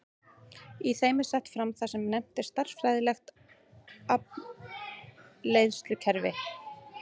Í þeim er sett fram það sem nefnt er stærðfræðilegt afleiðslukerfi.